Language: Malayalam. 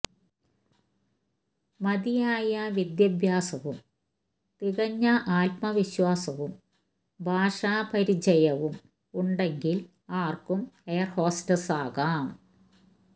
മതിയായ വിദ്യാഭ്യാസവും തികഞ്ഞ ആത്മവിശ്വാസവും ഭാഷാപരിചയവും ഉണ്ടെങ്കില് ആര്ക്കും എയര് ഹോസ്റ്റസ് ആകാം